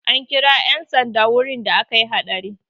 An kira 'yan sanda wurin da akayi haɗari.